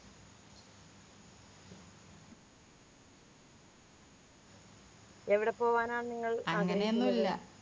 എവിടെ പോവനാണ് നിങ്ങൾ അങ്ങനെയൊന്നുമില്ല